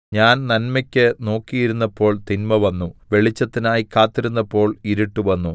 ഞാൻ നന്മയ്ക്ക് നോക്കിയിരുന്നപ്പോൾ തിന്മ വന്നു വെളിച്ചത്തിനായി കാത്തിരുന്നപ്പോൾ ഇരുട്ട് വന്നു